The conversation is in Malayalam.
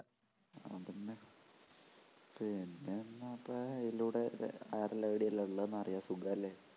പിന്നെന്തപ്പെഅതിലൂടെ ആരുടെ ID എല്ലാം ഉള്ളെ എന്നറിയാ സുഖോല്ലേ